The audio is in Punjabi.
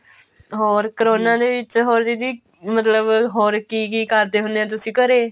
ਹੋਰ ਕਰੋਨਾ ਦੇ ਵਿੱਚ ਹੋਰ ਦੀਦੀ ਮਤਲਬ ਹੋਰ ਕੀ ਕੀ ਕਰਦੇ ਹੁਨੇ ਆ ਤੁਸੀਂ ਘਰੇ